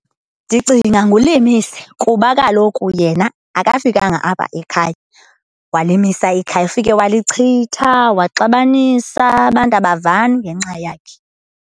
Ndicinga nguLimise, kuba kaloku yena akafikanga apha ekhaya walimisa ikhaya. Ufike walichitha waxabanisa, abantu abavani ngenxa yakhe.